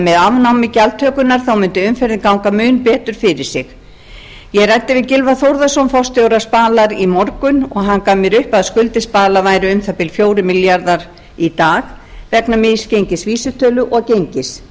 með afnámi gjaldtökunnar mundi umferðin ganga mun betur fyrir sig ég ræddi við gylfa þórðarson forstjóra spalar í morgun og hann gaf mér upp að skuldir spalar væru um það bil fjórir milljarðar í dag vegna misgengis vísitölu og gengis